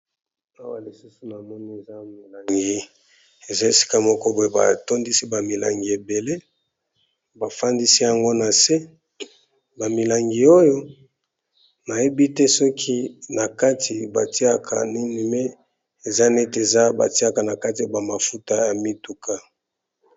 Awa lisusu na moni eza milangi eza esika moko boye batondisi ba milangi ebele , bafandisi yango na se , ba milangi oyo nayebi te soki na kati batiaka nini me eza neti eza batiaka na kati a bamafuta ya mituka.